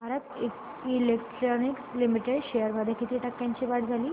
Bharat electronics limited shares मध्ये किती टक्क्यांची वाढ झाली